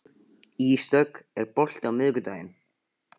Ísdögg, er bolti á miðvikudaginn?